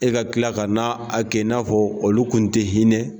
E ka kila ka na a kɛ, i n'a fɔ olu kun ti hinɛ